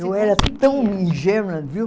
Eu era tão ingênua, viu?